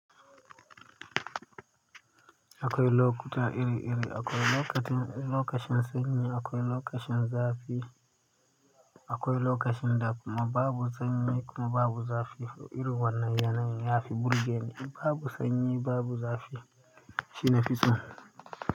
Akwai lokuta iri iri, akwai lokacin sanyi da lokacin zafi akwai lokacin da kuma babu sanyi babu zafi. Irin wannan yanayin yafi burge ni, in babu sanyi babu zafi shi na fiso.